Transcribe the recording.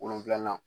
Wolonfilanan